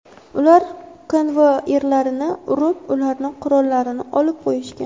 Ular konvoirlarni urib, ularning qurollarini olib qo‘yishgan.